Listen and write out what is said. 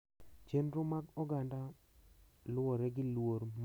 Chenro mag oganda luwore gi luor ma ji miyore.